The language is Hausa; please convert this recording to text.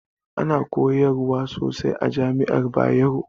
Ana koyarwa sosai a jami'ar Bayero